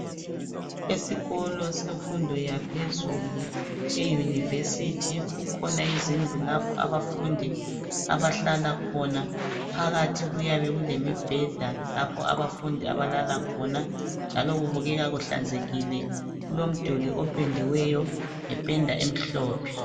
Esikolo semfundo yaphezulu eyunivesithi kukhona izindlu lapho abafundi abahlala khona. Phakathi kuyabe kulemibheda lapho abafundi abalala khona njalo kubukeka kuhlanzekile. kulomduli opendiweyo ngependa emhlophe.